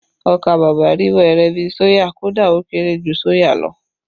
Ọkà bàbà rí wẹ́rẹ́ bi soya, kódà ó kéré jù soya lọ